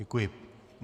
Děkuji.